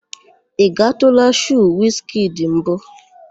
Ị gatụụla shoo Wiz kidi mbụ?